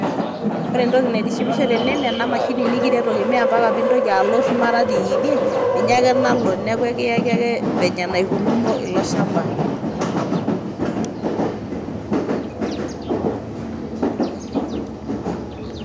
wore entoki naitishipisho teene naa ena mashini nikiretoki maa mpaka piintoki aloo shumata tidiee ninye ake naalo neaku ekiyaaki vile naikununo ilo shamba